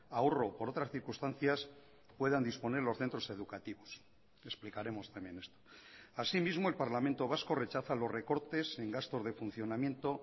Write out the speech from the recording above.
ahorro o por otras circunstancias puedan disponer los centros educativos explicaremos también esto asimismo el parlamento vasco rechaza los recortes en gastos de funcionamiento